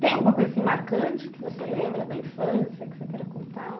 Tem alguma coisa marcante que você lembra da infância que você queira contar?